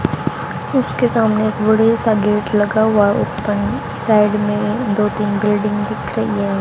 उसके सामने बड़े सा गेट लगा हुआ है साइड में दो तीन बिल्डिंग दिख रही है।